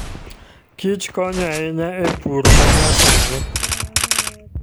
Kich konyo ahinya e pur emanyasani.